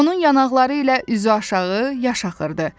Onun yanaqları ilə üzü aşağı yaş axırdı.